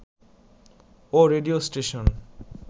O radio station